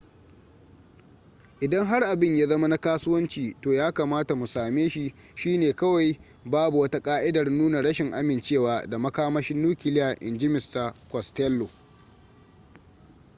idan har abin ya zama na kasuwanci to ya kamata mu same shi shi ne kawai babu wata ka'idar nuna rashin amincewa da makamashin nukiliya inji mista costello